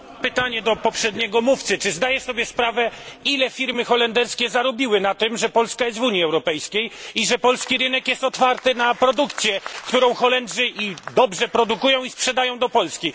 Panie Przewodniczący! Mam pytanie do poprzedniego mówcy czy zdaje Pan sobie sprawę, ile firmy holenderskie zarobiły na tym, że Polska jest w Unii Europejskiej i że polski rynek jest otwarty na produkcję, którą Holendrzy dobrze produkują i sprzedają do Polski?